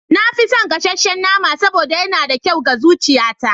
Na fi son gasasshen nama saboda yana da kyau ga zuciyata.